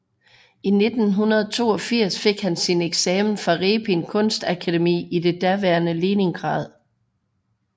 I 1982 fik han sin eksamen fra Repin Kunstakademi i det daværende Leningrad